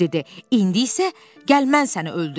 İndi isə gəl mən səni öldürüm.